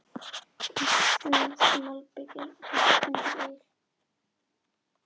Íslenskt malbik er hart undir il.